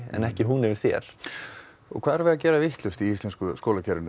en ekki hún yfir þér hvað erum við að gera vitlaust í íslensku skólakerfi